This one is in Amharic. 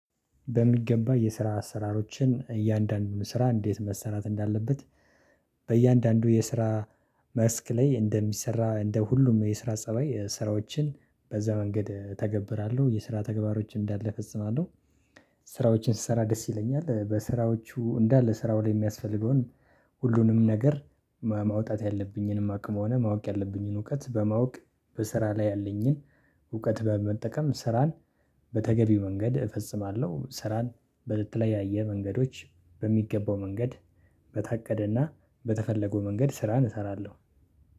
በሚገባ የስራ አሰራሮችን እያንዳንዱን ስራ እንዴት መሰራት እንዳለበት በእያንዳንዱ የስራ መስክ ላይ እንደሚሰራ እንደ ሁሉም የስራ ፀባይ ስራዎችን በዛ መንገድ እተገብራለሁ የስራ ተግባሮች እንዳለ እፈጽማለሁ። ስራዎችን ስሰራ ደስ ይለኛል። በስራዎቹ እንዳለ ስራው ላይ የሚያስፈልገውን ሁሉንም ነገር ማውጣት ያለብኝንም አቅም ሆነ ማወቅ ያለብኝን እውቀት በማወቅ በስራ ላይ ያለኝን እውቀት በመጠቀም ስራን በተገቢው መንገድ እፈጽማለሁ። ስራን በተለያየ መንገዶች በሚገባው መንገድ በታቀደና በተፈለገው መንገድ ስራን እሰራለሁ።